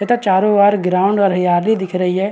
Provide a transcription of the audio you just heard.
तथा चारों वर ग्राउंड वर हरियाली दिख रही हैं।